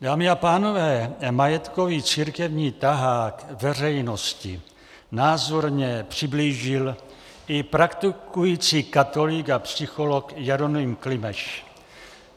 Dámy a pánové, majetkový církevní tahák veřejnosti názorně přiblížil i praktikující katolík a psycholog Jeroným Klimeš.